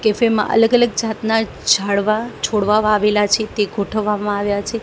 Cafe માં અલગ અલગ જાતના ઝાડવા છોડવા વાવેલા છે તે ગોઠવવામાં આવ્યા છે.